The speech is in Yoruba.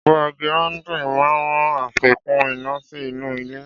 Ọ̀pá gíráúndìn máa ràn àfikún iná sí inú ilẹ̀